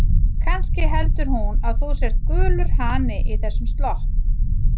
Kannski heldur hún að þú sért gulur hani í þessum slopp.